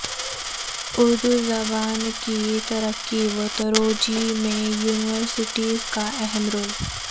اردو زبان کی ترقی و ترویج میں یونیورسٹیز کا اہم رول